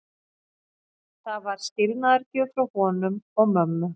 Það var skilnaðargjöf frá honum og mömmu.